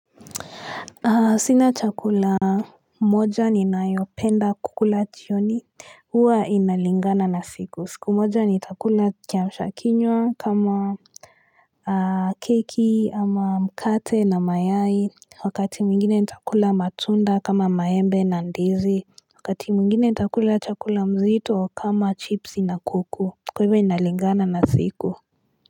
Sina chakula moja ni nayopenda kukula chioni Uwa inalingana na siku siku moja ni chakula kiamshakiynwa kama Keki ama mkate na mayai wakati mwingine nitakula matunda kama maembe na ndizi Wakati mwingine nitakula chakula mzito kama chips na kuku kwahivyo inalingana na siku.